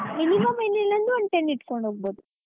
Minimum ಏನ್ ಇಲ್ಲಾ ಅಂದ್ರು ಒಂದ್ ten ಇಡ್ಕೊಂಡು ಹೊಗ್ಬೋದು.